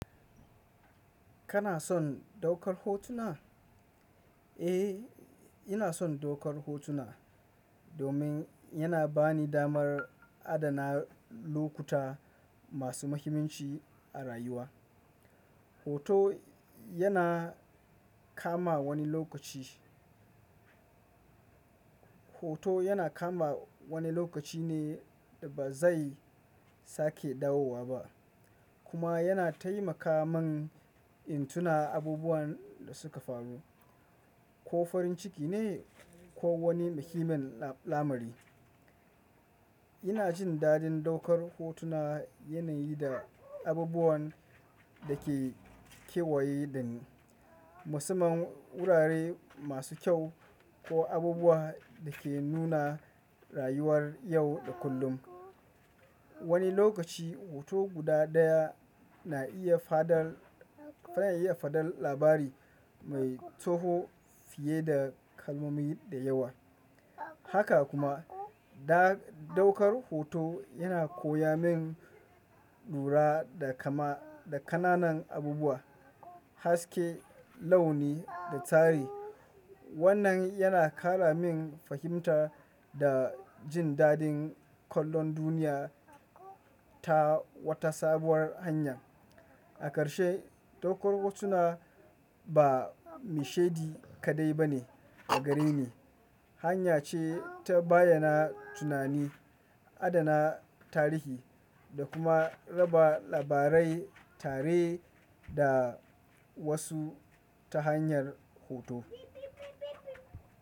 Kana son daukar hotuna? Eh, ina son daukar hotuna domin yana bani damar adana lokuta masu muhimmanci a rayuwa. Hoto yana kama wani lokaci, hoto yana kama wani lokaci ne da ba zai sake dawowa ba kuma yana taimaka man in tuna abubuwan da suka faru, ko farin ciki ne ko wani muhimmin lamari. Ina jin daɗin daukar hotuna yanayi da abubuwan da ke kewaye da ni, musamman wurare masu kyau ko abubuwa da ke nuna rayuwar yau da kullum. Wani lokaci hoto guda ɗaya na iya faɗar, na iya faɗar labari mai tsoho fiye da kalmomi da yawa. Haka kuma da daukar hoto yana koya min lura da kama, da ƙananan abubuwa, haske, launi da tsari. Wannan yana ƙara min fahimta da jin daɗin kallon duniya ta wata sabuwar hanya. A ƙarshe, daukar hotuna ba mishedi kaɗai ba ne, agare ni hanya ce ta bayyana tunani, adana tarihi da kuma raba labarai tare da wasu ta hanyar hoto.